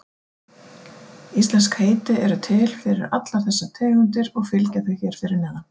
Íslensk heiti eru til fyrir allar þessar tegundir og fylgja þau hér fyrir neðan.